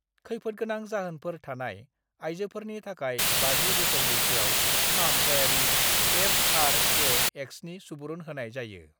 खैफोदगोनां जाहोनफोर थानाय आइजोफोरनि थाखाय 50 बोसोर बैसोआव फाहामथायारि एफआरएएक्सनि सुबुरुन होनाय जायो।